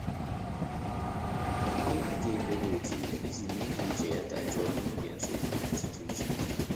Ọ́ nà-àgá ékpèré òtù ìjí mèé kà úchè yá dàjụ́ọ́ n’ógè nsógbú mmétụ́tà úchè.